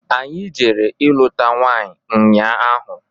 Anyị jere ilụta nwanyị nnya ahụ.